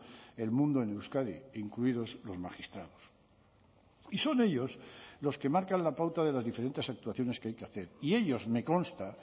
el mundo en euskadi incluidos los magistrados y son ellos los que marcan la pauta de las diferentes actuaciones que hay que hacer y ellos me consta